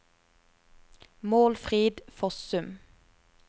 Målfrid Fossum